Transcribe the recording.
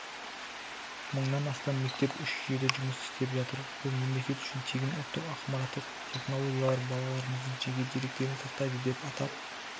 мыңнан астам мектеп үш жүйеде жұмыс істеп жатыр бұл мемлекет үшін тегін ұлттық ақпараттық технологиялар балаларымыздың жеке деректерін сақтайды деп атап